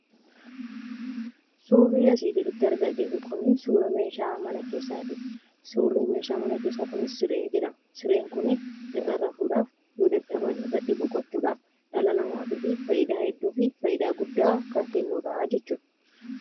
Suurri asii gaditti argaa jirru kunii suura meeshaa mana keessaati. Suurri Meeshaa mana keessaa kunis siree jedhama. Sireen kunii irra rafuudhaaf, yoo dadhaban irratti boqochuudhaaf dhala namaatiifi faayidaa hedduu fi faayidaa guddaa kan kennudhaa jechuudha.